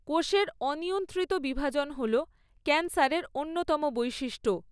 কোষের অনিয়ন্ত্রিত বিভাজন হল ক্যান্সারের অন্যতম বৈশিষ্ট্য।